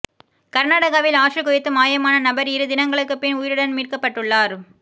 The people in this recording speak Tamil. கர்நாடகாவில் ஆற்றில் குதித்து மாயமான நபர் இரு தினங்களுக்கு பின் உயிருடன் மீட்கப்பட்டுள்ளார்